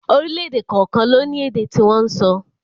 Orílẹ̀èdè kọ̀ọ̀kan ló ní èdè tí wọ́n ń sọ